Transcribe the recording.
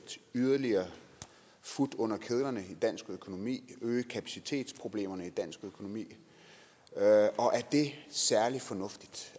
yderligere fut under kedlerne i dansk økonomi og øge kapacitetsproblemerne i dansk økonomi og er det særlig fornuftigt